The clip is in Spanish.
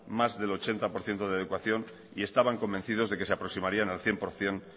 más del ochenta por ciento de adecuación y estaban convencidos de que se aproximarían al cien por ciento